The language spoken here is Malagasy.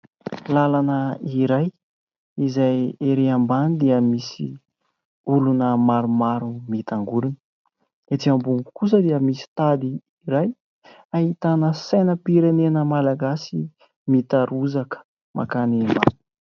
Lalana iray izay erỳ ambany dia misy olona maromaro mitangorona. Etỳ ambony kosa dia misy tady iray ahitana sainam-pirenena Malagasy mitarozaka mankany...